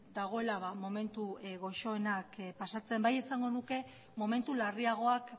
dagoela momentu goxoenak pasatzen bai esango nuke momentu larriagoak